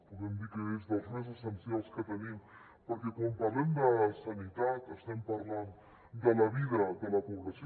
podem dir que és dels més essencials que tenim perquè quan parlem de sanitat estem parlant de la vida de la població